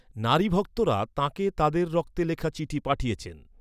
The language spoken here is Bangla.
নারী ভক্তরা তাঁকে তাঁদের রক্তে লেখা চিঠি পাঠিয়েছেন।